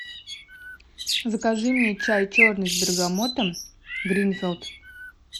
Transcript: закажи мне чай черный с бергамотом гринфилд